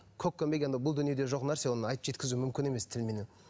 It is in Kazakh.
бұл дүниеде жоқ нәрсе оны айтып жеткізу мүмкін емес тілменен